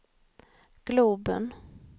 globen